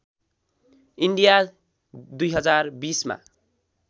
India २०२० मा